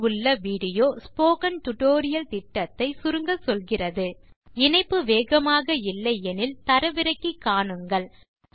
தொடுப்பில் உள்ள video spoken tutorial திட்டத்தை சுருங்கச்சொல்கிறது இணைப்பு வேகமாக இல்லை எனில் தரவிறக்கி காணுங்கள்